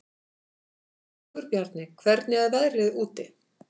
Sigurbjarni, hvernig er veðrið úti?